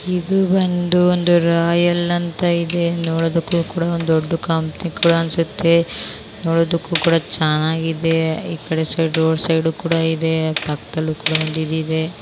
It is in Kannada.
ಇದು ಒಂದು ರಾಯಲ್ ಇದು ಅಂತ ಇದೆ ನೋಡೋದಕ್ಕೂ ಕೂಡ ಒಂದು ದೊಡ್ಡ ಕಂಪನಿ ತರ ಅನ್ಸುತ್ತೆ ನೋಡದಕ್ಕೂ ಕೂಡ ಚೆನ್ನಾಗಿದೆ. ಡೋರ್ ಸೈಡ್ ಕೂಡ ಇದೆ ಪಕ್ಕದಲ್ಲಿ--